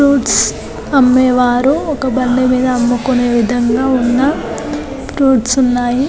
Fruits అమ్మేవారు ఒక బండి మీద అమ్ముకునే విధంగా ఉన్న ఫ్రూట్స్ ఉన్నాయి.